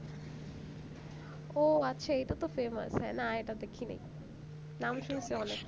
ওহ আছে এইটা তো famous না এটা দেখিনি নাম শুনছি অনেক